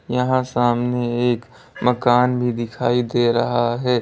यहां सामने एक मकान भी दिखाई दे रहा है।